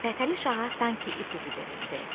Fətəli Şaha sanki ipucu verildi.